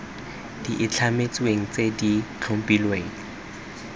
di itlhametsweng tse di tlhophilweng